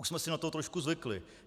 Už jsme si na to trošku zvykli.